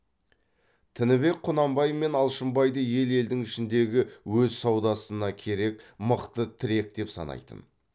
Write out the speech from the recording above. тінібек құнанбай мен алшынбайды ел елдің ішіндегі өз саудасына керек мықты тірек деп санайтын